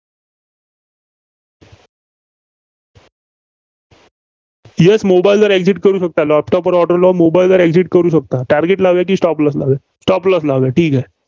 Yes Mobile वर exit करू शकता. laptop वर लावून mobile वर exit करू शकता. target लावलयं की stop lossstop loss लावलयं, ठीक आहे.